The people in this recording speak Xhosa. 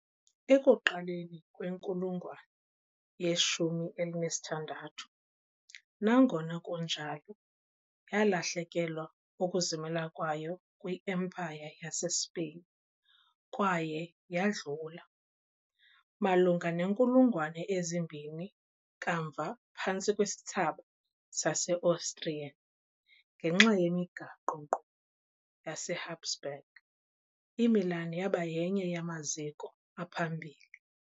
Ekuqaleni kwenkulungwane ye -16, nangona kunjalo, yalahlekelwa ukuzimela kwayo kwi- Empire yaseSpain kwaye yadlula, malunga neenkulungwane ezimbini kamva, phantsi kwesithsaba sase-Austrian- ngenxa yemigaqo-nkqubo yaseHabsburg, iMilan yaba yenye yamaziko aphambili